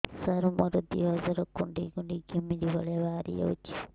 ସାର ମୋର ଦିହ ସାରା କୁଣ୍ଡେଇ କୁଣ୍ଡେଇ ଘିମିରି ଭଳିଆ ବାହାରି ଯାଉଛି